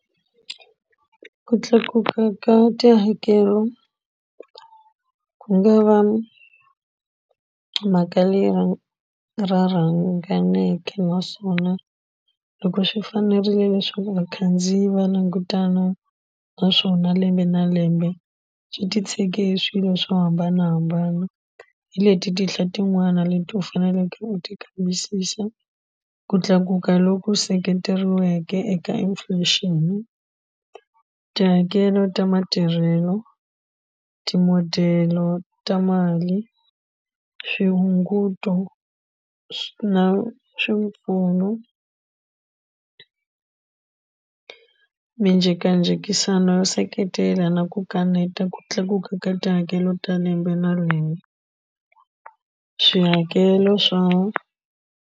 Ku tlakuka ka tihakelo ku nga va mhaka leyi ra ra naswona loko swi fanerile leswaku vakhandziyi va langutana naswona lembe na lembe swi titshege hi swilo swo hambanahambana hi leti tinhla tin'wani leti u faneleke u ti kambisisa ku tlakuka loku seketeriweke eka inflation tihakelo ta matirhelo ti-model-lo ta mali swihunguto na swipfuno minjhekanjhekisano yo seketela na ku kaneta ku tlakuka ka tihakelo ta lembe na lembe swihakelo swa.